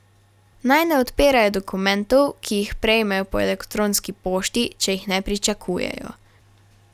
Naj ne odpirajo dokumentov, ki jih prejmejo po elektronski pošti, če jih ne pričakujejo.